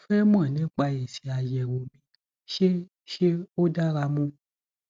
mo fẹ mọ nípa èsì àyẹwò mi ṣé ṣé ó dára mu